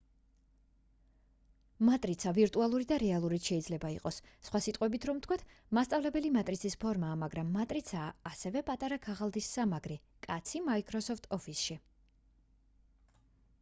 მატრიცა ვირტუალური და რეალურიც შეიძლება იყოს სხვა სიტყვებით რომ ვთქვათ მასწავლებელი მატრიცის ფორმაა მაგრამ მატრიცაა ასევე პატარა ქაღალდის სამაგრი კაცი microsoft office-ში